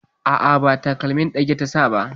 A'a, ba takalmin ɗage ta sa ba.